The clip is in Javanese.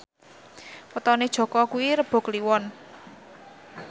wetone Jaka kuwi Rebo Kliwon